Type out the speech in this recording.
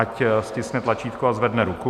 Ať stiskne tlačítko a zvedne ruku.